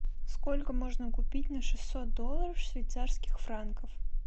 сколько можно купить на шестьсот долларов швейцарских франков